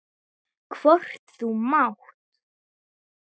Hvort þú mátt!